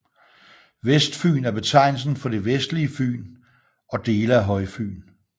Vestfyn er betegnelsen for det vestlige Fyn og dele af Højfyn